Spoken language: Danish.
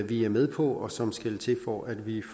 vi er med på og som skal til for at vi